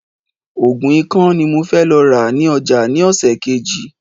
Ògùn ikán ni mo fẹ́ lọ rà ní ọjà ni ọ̀sẹ̀ Kejì